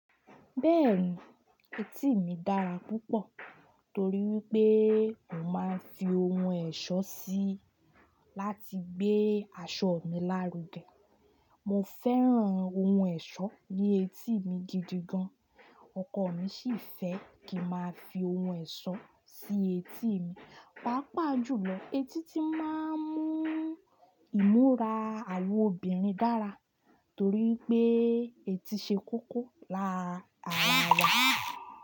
Bẹ́ẹ̀ni, etí mi dára púpọ̀ torí pé mo máa ń fi ohun ẹ̀ṣọ́ sí i láti gbé aṣọ mi lárugẹ. Mo fẹ́ràn ohun ẹ̀ṣọ́ ní etí mi gidi gan. Ọkọ mi sì fẹ́ kí n máa fi ohun ẹ̀ṣọ́ sí etí mi. Pàápàá jùlọ, etí ti máa ń mú ìmúra àwọn obìnrin dára torí pé etí ṣe kókó làrá ara yàrá.